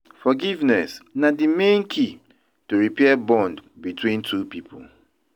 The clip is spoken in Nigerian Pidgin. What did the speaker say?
Forgiveness na di main key to repair bond between two people.